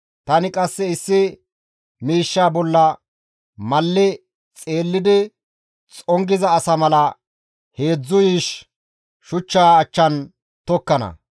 Tani qasse issi miishsha bolla malli xeellidi xongiza asa mala heedzdzu yiish shuchchaa achchan dukkana.